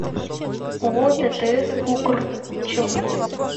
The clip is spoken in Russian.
ооо ттс укр челны